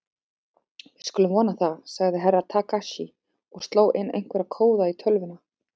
Við skulum vona það, sagði Herra Takashi og sló inn einhverja kóða í tölvuna.